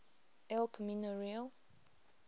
el camino real